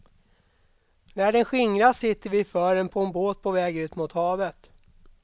När den skingras sitter vi i fören på en båt på väg ut mot havet.